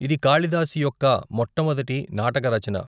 ఇది కాళిదాసు యొక్క మొట్టమొదటి నాటక రచన.